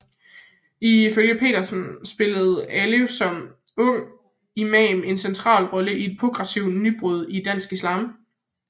Ifølge Petersen spillede Alev som ung imam en central rolle i et progressivt nybrud i dansk islam